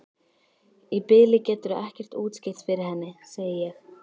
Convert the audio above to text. Í bili geturðu ekkert útskýrt fyrir henni, segi ég.